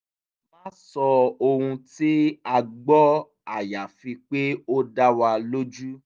má sọ ohun tí a gbọ́ àyàfi pé ó dá wa lójú